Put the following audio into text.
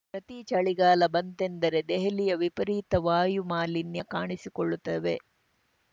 ಪ್ರತಿ ಚಳಿಗಾಲ ಬಂತೆಂದರೆ ದೆಹಲಿಯ ವಿಪರೀತ ವಾಯುಮಾಲಿನ್ಯ ಕಾಣಿಸಿಕೊಳ್ಳುತ್ತದೆ